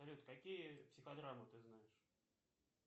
салют какие психодрамы ты знаешь